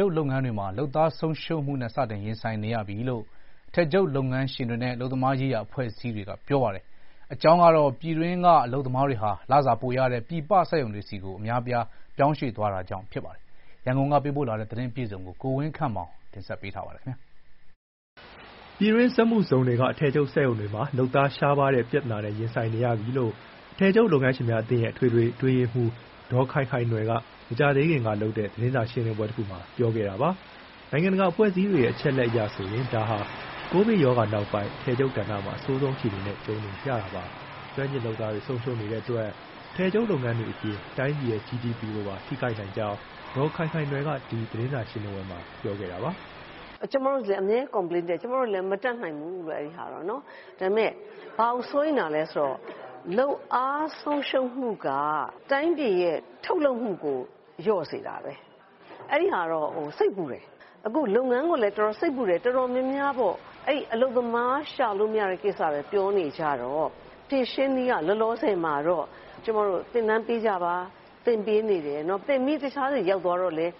ျုပ်လုပ်ငန်းတွေမှာ လုပ်အား လုပ်သားဆုံးရှုံးမှုနဲ့ စတင်ရင်ဆိုင်နေရပြီလို့ အထည်ချုပ်လုပ်ငန်းရှင်တွေနဲ့ အလုပ်သမားရေးရာအဖွဲ့အစည်းတွေက ဗွီအိုအေကို ပြောပါတယ်။ ပြည်တွင်းက အလုပ်သမားတွေဟာ လုပ်အားခ လစာပိုရတဲ့ ပြည်ပနိုင်ငံတွေနဲ့ လုပ်ငန်းခွင်စက်ရုံတွေဆီ အများအပြား ပြောင်းရွှေ့သွားတာကြောင့် ဖြစ်ပါတယ်ပါတယ်။ ရန်ကုန်က သတင်းပေးပို့ထားပါတယ်။ ပြည်တွင်းစက်မှုဇုံတွေက အထည်ချုပ်စက်ရုံတွေမှာ လုပ်သားရှားပါးတဲ့ ပြဿနာနဲ့ ရင်ဆိုင်နေရပြီလို့ အထည်ချုပ် လုပ်ငန်းရှင်များအသင်းရဲ့ အထွေထွေအတွင်းရေးမှူး ဒေါ်ခိုင်ခိုင်နွယ်က မကြာသေးခင်ကလုပ်တဲ့ သတင်းစာရှင်းလင်းပွဲတခုမှာ ပြောခဲ့တာပါ။ နိုင်ငံတကာအဖွဲ့အစည်းတွေရဲ့ အချက်အလက်အရဆိုရင် ဒါဟာ ကိုဗစ်ကပ်ရောဂါနောက်ပိုင်း အထည်ချုပ်ကဏ္ဍမှာ အဆိုးဆုံးအခြေအနေနဲ့ ကြုံနေရတာပါ။ ကျွမ်းကျင်လုပ်သားတွေ ဆုံးရှုံးနေတဲ့အတွက် အထည်ချုပ်လုပ်ငန်းတွေအပြင် တိုင်းပြည်ရဲ့ ဂျီဒီပီ (GDP) ကိုပါ ထိခိုက်နိုင်ကြောင်း ဒေါ်ခိုင်ခိုင်နွယ်က ဒီသတင်းစာရှင်းလင်းပွဲမှာ ပြောခဲ့တာပါ။ "ကျမတို့လည်း အမြဲ complaint တက်ကြတယ်၊ ကျမတို့လည်း မတတ်နိုင်ဘူးလို့ အဲဒီဟာတော့။ ဒါပေမဲ ဘာကိုစိုးရိမ်တာလဲဆိုတော့ လုပ်အားဆုံးရှုံးမှုက တိုင်းပြည်ရဲ့ ထုတ်လုပ်မှုကို လျော့စေတာပဲ။ အဲဒီဟာတော့ စိတ်ပူတယ်။ အခုလုပ်ငန်းကိုလည်း စိတ်ပူတယ်။ တော်တော်များများပေါ့ အဲဒီအလုပ်သမား ရှာလို့မရတဲ့ဟာပဲ ပြောနေကြတော့ ဖြေရှင်းနည်းက လောလောဆယ်မှာတော့ သင်တန်းပေးကြပါ၊ သင်ပေးနေတယ်၊ သင်ပြီး တခြားဆီရောက်သွားတော့လည်း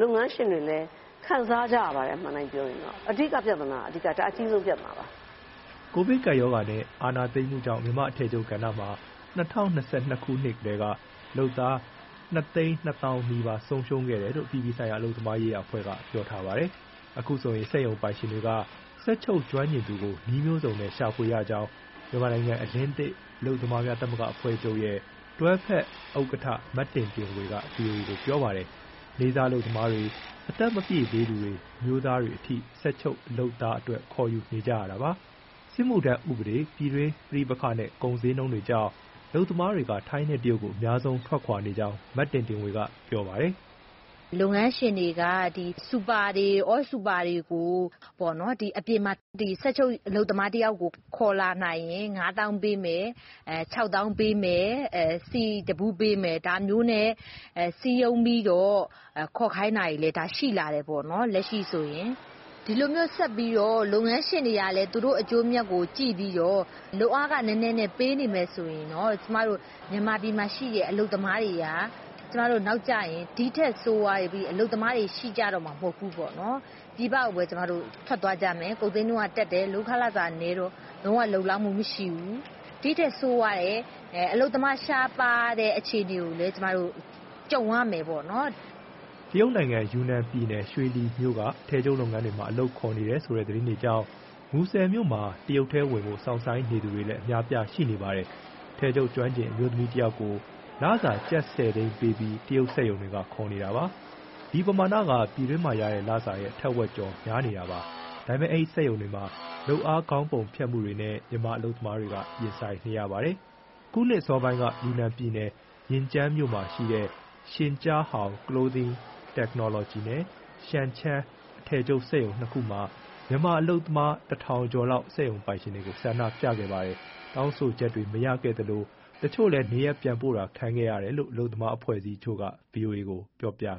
လုပ်ငန်းရှင်တွေလည်း ခံစားကြရပါတယ် အမှန်အတိုင်းပြောရင်။ အဓိကပြဿနာ၊ ဒါအကြီးဆုံးပြဿနာပါ။" အခုဆိုရင် စက်ရုံပိုင်ရှင်တွေက စက်ချုပ်ကျွမ်းကျင်သူကို နည်းမျိုးစုံနဲ့ ရဖွေနေရကြောင်း မြန်မာနိုင်ငံအလင်းသစ် အလုပ်သမားသမဂ္ဂများ အဖွဲ့ချုပ်ရဲ့ တွဲဖက်ဥက္ကဋ္ဌ မတင်တင်ဝေက ဗွီအိုအေကို ပြောပါတယ်။ နေ့စားအလုပ်သမားတွေ၊ အသက်မပြည့်သေးသူတွေ၊ အမျိုးသားတွေအထိ စက်ချုပ်လုပ်သားအတွက် ခေါ်ယူနေကြတာပါ။ စစ်မှုထမ်းဥပဒေ၊ ပြည်တွင်းပဋိပက္ခနဲ့၊ ကုန်ဈေးနှုန်းကြောင့် အလုပ်သမားတွေက ထိုင်းနဲ့ တရုတ်ကို အများဆုံးထွက်နေကြောင်း မတင်တင်ဝေက ပြောပါတယ်။ "လုပ်ငန်းရှင်တွေက စူပါတွေ၊ အောစူပါတွေကို အပြင်မှာ စက်ချုပ်လုပ်သားတယောက်ကို ခေါ်လာနိုင်ရင် ငါးသောင်းပေးမယ်၊ ခြောက်သောင်းပေးမယ်၊ ဆီတဗူးပေးမယ်၊ ဒါမျိုးနဲ့ စည်းရုံးပြီးတော့ ခေါ်ခိုင်းတာတွေ ရှိလာတယ် လက်ရှိဆိုရင်။ ဒီလိုမျိုးဆက်ပြီး လုပ်ငန်းရှင်တွေကလည်း သူတို့အကျိုးအမြတ်ကိုကြည့်ပြီး လုပ်အားခနည်းနည်းနဲ့ ပေးနေမယ်ဆိုရင် မြန်မာပြည်မှာရှိတဲ့ အလုပ်သမားတွေက ဒီထက်ဆိုးပြီး အလုပ်သမားတွေ ရှိကြတော့မှာ မဟုတ်ဘူး။ ပြည်ပကိုပဲ ထွက်သွားကြမယ်။ ကုန်ဈေးနှုန်းကတက်တယ် လုပ်ခကနည်းတော့ လုံးဝ လုံလောက်မှုမရှိဘူး။ ဒီထက်ဆိုးတဲ့ အလုပ်သမားရှားပါးတဲ့ အခြေအနေကိုလည်း ကျမတို့ ကြုံရမယ်ပေါ့နော်။ တရုတ်ယူနန်ပြည်နယ် ရွှေလီမြို့က အထည်ချုပ်လုပ်ငန်းတွေမှာ အလုပ်ခေါ်နေတယ်ဆိုတဲ့ သတင်းတွေကြောင့် မူဆယ်မြို့မှာ တရုတ်ထဲဝင်ဖို့ စောင့်ဆိုင်းနေသူတွေလည်း အများအပြားရှိနေပါတယ်။ အထည်ချုပ်ကျွမ်းကျင် အမျိုးသမီးတယောက်ကို လစာ ကျပ်၁၀သိန်းပေးပြီး တရုတ်စက်ရုံတွေက ခေါ်နေတာပါ။ ဒီပမာဏက ပြည်တွင်းမှရတဲ့လစာရဲ့ ထက်ဝက်ကျော် များနေတာပါ။ ဒါပေမဲ့ အဲဒီစက်ရုံတွေမှာ လုပ်အားခေါင်းပုံဖြတ်မှုတွေနဲ့ မြန်မာအလုပ်သမားတွေက ရင်ဆိုင်နေရပါတယ်။ အခုနှစ်အစောပိုင်းက ယူနန်ပြည်နယ်၊ ရင်ကျန်းမြို့မှာရှိတဲ့ Xinjiahao Clothing Technology နဲ့ Shangcheng အထည်ချုပ်စက်ရုံနှစ်ခုမှာ မြန်မာအလုပ်သမား ၁,၀၀၀ ကျော်လောက် စက်ရုံပိုင်ရှင်တွေကို ဆန္ဒပြခဲ့ပါတယ်။ တောင်းဆိုချက်တွေ မရခဲ့သလို တချို့လည်း နေရပ်ပြန်ပို့တာခံခဲ့ရတယ်လို့ အလုပ်သမား အဖွဲ့အစည်းတချို့က ဗွီအိုအေကို ပြောပြခ